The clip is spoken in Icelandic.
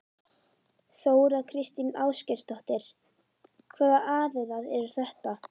Þóra Kristín Ásgeirsdóttir: Hvaða aðilar eru þetta?